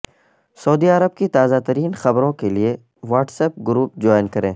سعودی عرب کی تازہ ترین خبروں کے لیے واٹس ایپ گروپ جوائن کریں